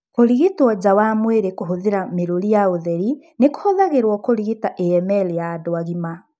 Kũrigitwo nja wa mwĩrĩ kũhũthĩra mĩrũri ya ũtheri nĩ kũhũthagĩrwo kũrigita AML ya andũ agima.